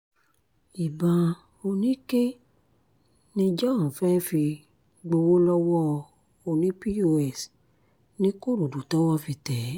ìbọn oníke ni john fẹ́ẹ́ fi gbowó lọ́wọ́ oní-pọ́s nìkòròdú tọ́wọ́ fi tẹ̀ ẹ́